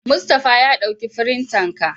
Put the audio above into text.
Mustapha ya dauki firintan ka.